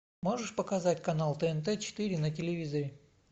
можешь показать канал тнт четыре на телевизоре